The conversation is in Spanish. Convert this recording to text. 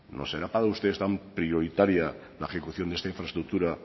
no será para ustedes tan prioritaria la ejecución de esta infraestructura